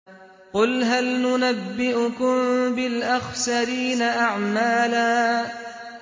قُلْ هَلْ نُنَبِّئُكُم بِالْأَخْسَرِينَ أَعْمَالًا